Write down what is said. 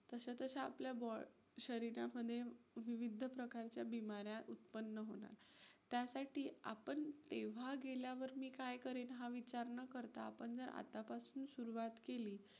तसं तशा आपल्या शरीरामध्ये विविध प्रकारच्या बीमाऱ्या उत्पन्न होणार. त्यासाठी आपण `तेव्हा गेल्यावर मी काय करेन हा विचार न करता आपण जर आत्तापासून सुरवात केली,